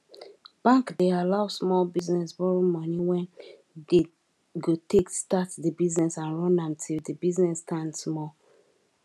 bank dey allow small business borrow money wen dey go take start di business and run am till di business stand small